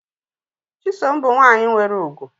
Chisom bu nwanyi nwere ugwu.